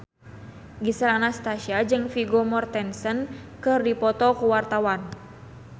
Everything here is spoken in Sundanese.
Gisel Anastasia jeung Vigo Mortensen keur dipoto ku wartawan